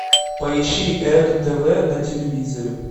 поищи эго тв на телевизоре